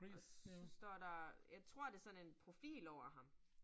Og så står der, jeg tror det sådan en profil over ham